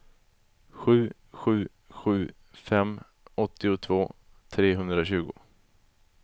sju sju sju fem åttiotvå trehundratjugo